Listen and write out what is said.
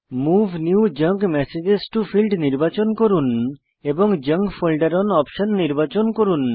move new junk message to field নির্বাচন করুন এবং জাঙ্ক ফোল্ডের ওন অপশন নির্বাচন করুন